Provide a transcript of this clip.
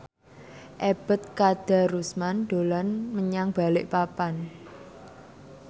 Ebet Kadarusman dolan menyang Balikpapan